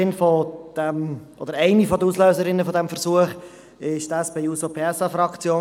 Eine der Auslöserinnen dieses Versuchs war die SP-JUSO-PSA-Fraktion.